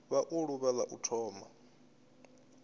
vha ḓuvha la u thoma